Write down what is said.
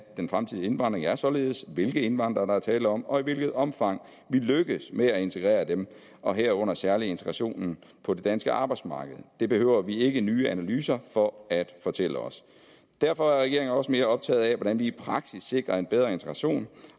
den fremtidige indvandring er således hvilke indvandrere der er tale om og i hvilket omfang vi lykkes med at integrere dem og herunder særlig integrationen på det danske arbejdsmarked det behøver vi ikke nye analyser for at fortælle os derfor er regeringen også mere optaget af hvordan vi i praksis sikrer en bedre integration